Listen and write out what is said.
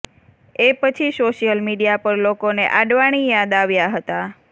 એ પછી social media પર લોકોને આડવાણી યાદ આવ્યાં હતા